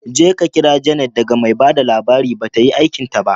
Jeka kira Janet daga mai ba da labari, ba ta yi aikinta ba.